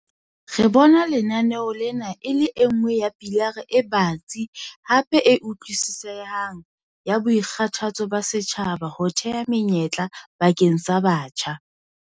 "Re bona lenaneo lena e le e nngwe ya pilara e batsi hape e utlwisisehang ya boikgathatso ba setjhaba ho theha menyetla bakeng sa batjha."